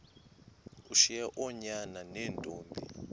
ushiye oonyana neentombi